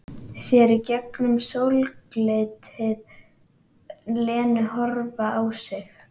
Sér í gegnum sólglitið Lenu horfa á sig.